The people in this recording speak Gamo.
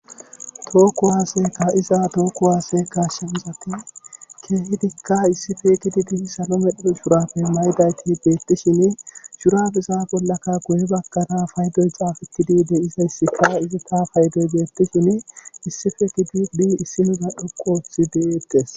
Toho kuwaase kaa7iza toho kuwaase kaasanchati keehidikka issipe gididi salo medho shuraabe mayida eti beettishini shuraabeza bollaka guye baggara paydoy xaafettidi de7izayssika izika paydoy beetetishenne issipe gididi isinoza dhoqu oothidi des.